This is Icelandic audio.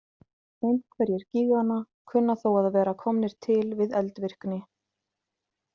Einhverjir gíganna kunna þó að vera komnir til við eldvirkni.